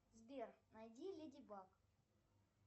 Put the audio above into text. сбер найди леди баг